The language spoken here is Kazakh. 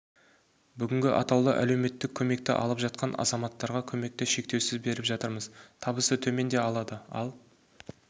бүгінгі атаулы әлеуметтік көмекті алып жатқан азматтарға көмекті шектеусіз беріп жатырмыз табысы төмен де алады ал